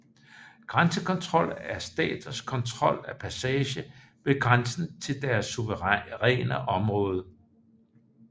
Grænsekontrol er staters kontrol af passage ved grænsen til deres suveræne område